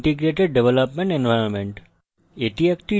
eclipse একটি integrated development environment